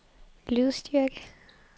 lydstyrke